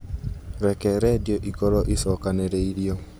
Reke redio ĩkorwo ĩcokanĩrĩirio